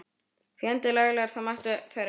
Fjandi laglegar, það máttu þær eiga.